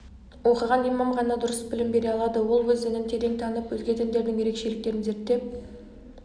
оқыған имам ғана дұрыс білім бере алады ол өз дінін терең танып өзге діндердің ерекшеліктерін зерттеп